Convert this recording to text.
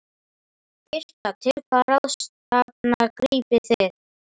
Birta: Til hvaða ráðstafana grípið þið?